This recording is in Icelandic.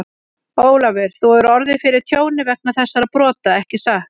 Ólafur, þú hefur orðið fyrir tjóni vegna þessara brota, ekki satt?